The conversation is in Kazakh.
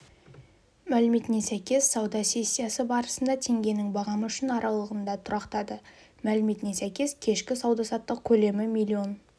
мәліметіне сәйкес сауда сессиясы барысында теңгенің бағамы үшін аралығында тұрақтады мәліметіне сәйкес кешкі сауда-саттық көлемі миллион